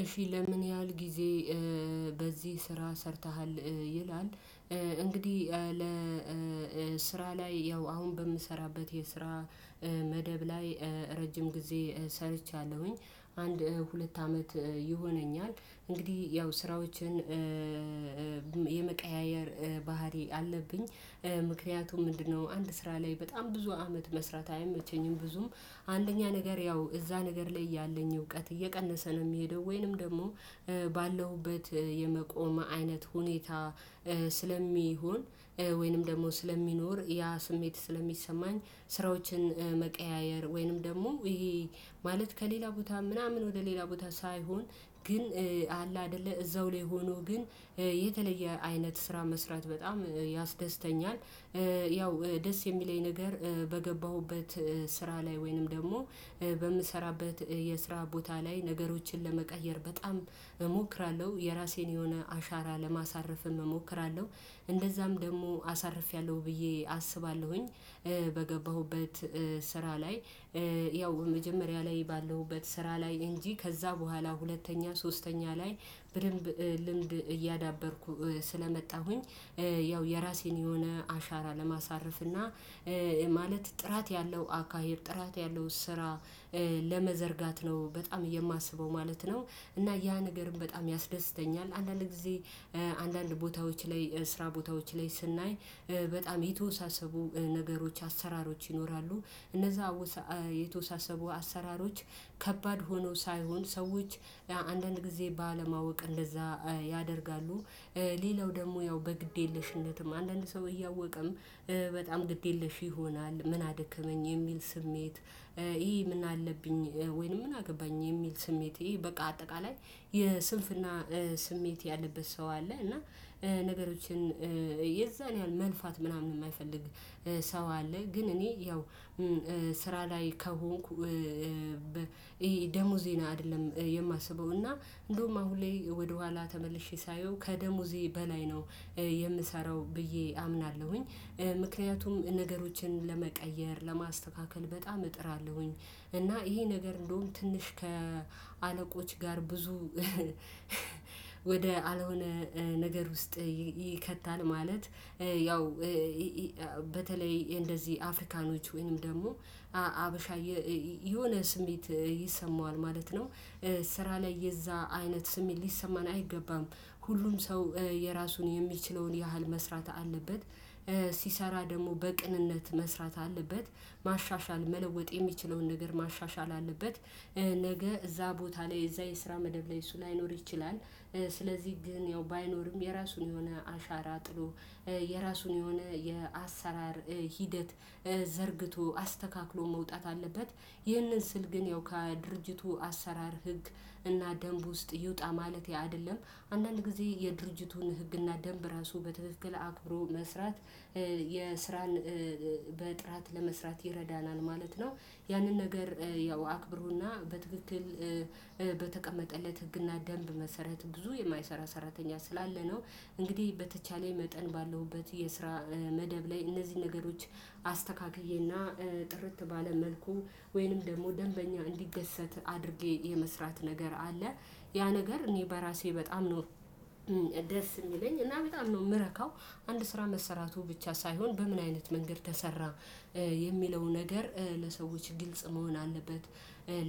እሺ ለምን ያህል ጊዜ በዚህ ስራ ሰርተሃል? ይላል። እንግዲህ። ላይ ያው አሁን በምሰራበት የስራ መደብ ላይ ረጅም ጊዜ ሰርቻለሁኝ አንድ ሁለት አመት ይሆነኛል እንግዲህ ያው ስራዎችን የመቀያየር ባህሪ አለብኝ። ምክንያቱም ምንድነው አንድ ስራ ላይ በጣም ብዙ አመት መስራት አይመቸኝም። ብዙም አንደኛ ነገር ያው እዛ ነገር ላይ ያለኝ እውቀት እየቀነሰ ነው የሚሄደው። ወይንም ደግሞ ባለሁበት የመቆም አይነት ሁኔታ ስለሚሆን። ወይንም ደግሞ ስለሚኖር ያ ስሜት ስለሚሰማኝ። ስራዎችን መቀያየር ወይንም ደግሞ ይሄ ማለት ከሌላ ቦታ ምናምን ወደ ሌላ ቦታ ሳይሆን ግን አለ አይደለ እዛው ላይ ሆኖ ግን የተለየ አይነት ስራ መስራት በጣም ያስደስተኛል። ያው ደስ የሚለኝ ነገር በገባሁበት ስራ ላይ ወይንም ደግሞ በምሰራበት የስራ ቦታ ላይ ነገሮችን ለመቀየር በጣም እሞክራለሁ የራሴን የሆነ አሻራ ለማሳረፍም እሞክራለሁ። እንደዛም ደግሞ አሳርፌያለሁ ብዬ አስባለሁኝ። በገባሁበት ስራ ላይ። ያው መጀመሪያ ላይ ባለሁበት ስራ ላይ እንጂ ከዛ በኋላ ሁለተኛ ሶስተኛ ላይ በደምብ ልምድ እያዳበርኩ ስለመጣሁኝ። ያው የራሴን የሆነ አሻራ ለማሳረፍ እና ማለት ጥራት ያለው አካሄድ ጥራት ያለው ስራ ለመዘርጋት ነው በጣም የማስበው ማለት ነው። እና ያ ነገርም በጣም ያስደስተኛል። አንዳንድ ጊዜ አንዳንድ ቦታዎች ላይ ስራ ቦታዎች ላይ ስናይ በጣም የተወሳሰቡ ነገሮች አሰራሮች ይኖራሉ። እነዛ የተወሳሰቡ አሰራሮች ከባድ ሆነው ሳይሆን ሰዎች አንዳንድ ጊዜ ባለማወቅ እንደዛ ያደርጋሉ። ሌላው ደግሞ ያው በግድ የለሽነትም አንዳንድ ሰው እያወቀም በጣም ግድ የለሽ ይሆናል። ምን አደከመኝ የሚል ስሜት። ይሄ ምን አለብኝ ወይንም ምን አገባኝ የሚል ስሜት ይሄ በቃ አጠቃላይ የስንፍና ስሜት ያለበት ሰው አለ። እና ነገሮችን የዛን ያህል መልፋት ምናምን የማይፈልግ ሰው አለ። ግን እኔ ያው ስራ ላይ ከሆንኩ። ይሄ ደሞዜን አይደለም የማስበው እና እንደውም አሁን ላይ ወደኋላ ተመልሼ ሳየው ከደሞዜ በላይ ነው የምሰራው ብዬ አምናለሁኝ። ምክንያቱም ነገሮችን ለመቀየር ለማስተካከል በጣም እጥራለሁኝ እና ይሄ ነገር እንደውም ትንሽ ከአለቆች ጋር ብዙ ወደ አልሆነ ነገር ውስጥ ይከታል። ማለት ያው በተለይ እንደዚህ አፍሪካኖች ወይንም ደግሞ ሀበሻ የሆነ ስሜት ይሰማዋል ማለት ነው። ስራ ላይ የዛ አይነት ስሜት ሊሰማን አይገባም። ሁሉም ሰው የራሱን የሚችለውን ያህል መስራት አለበት። ሲሰራ ደግሞ በቅንነት መስራት አለበት። ማሻሻል መለወጥ የሚችለውን ነገር ማሻሻል አለበት። ነገ እዛ ቦታ ላይ እዛ የስራ መደብ ላይ እሱ ላይኖር ይችላል። ስለዚህ ግን ያው ባይኖርም የራሱን የሆነ አሻራ ጥሎ የራሱን የሆነ የአሰራር ሂደት ዘርግቶ አስተካክሎ መውጣት አለበት። ይህንን ስል ግን ያው ከድርጅቱ አሰራር ህግ እና ደንብ ውስጥ ይውጣ ማለት አይደለም። አንዳንድ ጊዜ የድርጅቱን ህግና ደንብ ራሱ በትክክል አክብሮ መስራት። የስራን በጥራት ለመስራት ይረዳናል ማለት ነው። ያንን ነገር ያው አክብሮና በትክክል በተቀመጠለት ህግና ደንብ መሰረት ብዙ የማይሰራ ሰራተኛ ስላለ ነው። እንግዲህ በተቻለ መጠን ባለውበት የስራ መደብ ላይ እነዚህ ነገሮች አስተካክዬና ጥርት ባለ መልኩ ወይንም ደግሞ ደንበኛ እንዲደሰት አድርጌ የመስራት ነገር አለ። ያ ነገር እኔ በራሴ በጣም ነው ደስ የሚለኝ እና በጣም ነው የምረካው። አንድ ስራ መሰራቱ ብቻ ሳይሆን በምን አይነት መንገድ ተሰራ። የሚለው ነገር ለሰዎች ግልጽ መሆን አለበት።